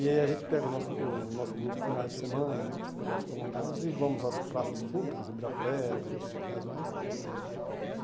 E aí a gente pega o nosso o nosso grupo finais de semana, com os feriados prolongadas, e vamos às praças públicas, em Ibirapuera e outros locais mais.